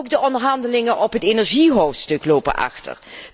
Ook de onderhandelingen over het energiehoofdstuk lopen achter.